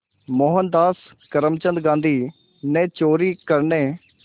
मोहनदास करमचंद गांधी ने चोरी करने